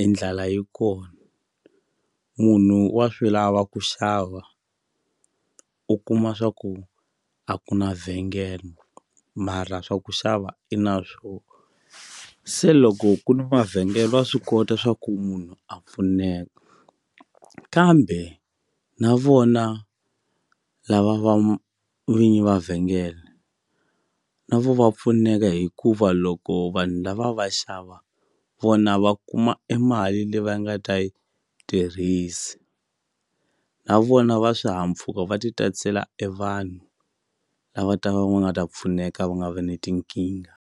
e ndlala yi kona munhu wa swi lava ku xava u kuma swa ku a ku na vhengele mara swa ku xava i na swo se loko ku ni mavhengele va swi kota swa ku munhu a pfuneka kambe na vona lava va vinyi va vhengele na vo va pfuneka hikuva loko vanhu lava va xava vona va kuma emali leyi va nga ta yi tirhisi na vona va swihahampfuka va ti tatisela e vanhu lava va ta va va nga ta pfuneka va nga ve ni tinkingha.